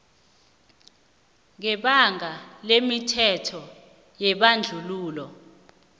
ngebanga lemithetho yebandlululo